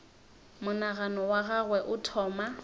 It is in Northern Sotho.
monagano wa gagwe o thoma